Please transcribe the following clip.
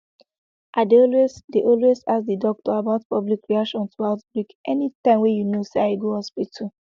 i dey always dey always ask the doctor about public reaction to outbreak anytym wey you know say i go hospital